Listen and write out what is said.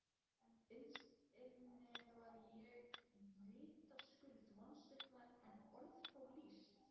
Innst inni var ég vitaskuld vonsviknari en orð fá lýst.